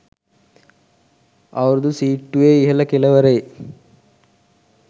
අවුරුදු සීට්ටුවේ ඉහළ කෙළවරේ